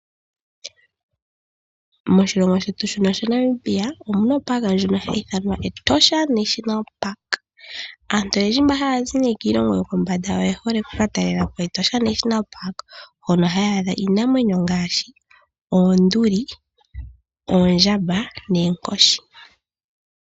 Moshilongo shetu shino sha Namibia omuna ehala ndono hali ithanwa Etosha National Park. Aantu oyendji nee mboka haya zi kiilongo yokombanda oye hole okuka talela po Etosha National Park, hono haya adha iinamwenyo ngaashi oonduli, oondjamba noonkoshi.